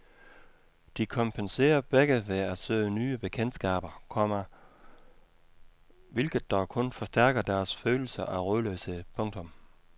De kompenserer begge ved at søge nye bekendtskaber, komma hvilket dog kun forstærker deres følelse af rodløshed. punktum